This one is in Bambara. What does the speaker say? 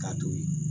K'a to ye